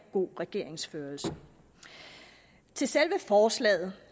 god regeringsførelse til selve forslaget